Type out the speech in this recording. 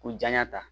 K'u janɲa ta